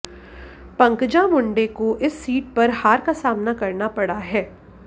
पंकजा मुंडे को इस सीट पर हार का सामना करना पड़ा है